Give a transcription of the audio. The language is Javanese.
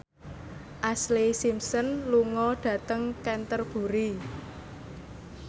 Ashlee Simpson lunga dhateng Canterbury